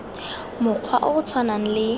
mokgwa o o tshwanang le